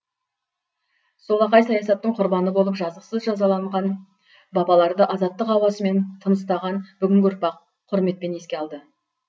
солақай саясаттың құрбаны болып жазықсыз жазаланған бабаларды азаттық ауасымен тыныстаған бүгінгі ұрпақ құрметпен еске алды